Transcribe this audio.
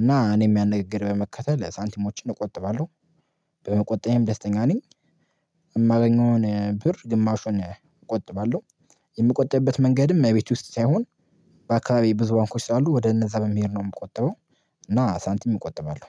እና እኔም ያን ንግግር በመከተል ሳንቲሞችን እቆጥባለሁ። በመቆጠበም ደስተኛ ነኝ። የማገኘውን ብር ግማሹን እቆጥባለሁ። የምቆጠብበት መንገድም እመቤት ውስጥ ሳይሆን በአካባቢ ብዙ ባንኮች አሉ ወደ እነዛ መሄድ ነው የምቆጥበው። እና ሳንቲም እቆጥባለሁ